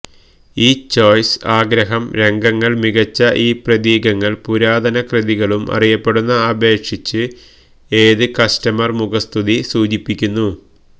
ഈ ചോയ്സ് ആഗ്രഹം രംഗങ്ങൾ മികച്ച ഈ പ്രതീകങ്ങൾ പുരാതനകൃതികളും അറിയപ്പെടുന്ന അപേക്ഷിച്ച് ഏത് കസ്റ്റമർ മുഖസ്തുതി സൂചിപ്പിക്കുന്നു